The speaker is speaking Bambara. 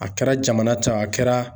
A kɛra jamana ta ye, a kɛra